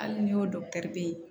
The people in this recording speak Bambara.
Hali n'i y'o ye